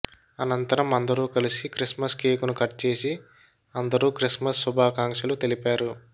అనంతరం అందరు కలిసి క్రిస్మస్ కేకును కట్ చేసి అందరు క్రిస్మస్ శుభాకాంక్షలు తెలిపారు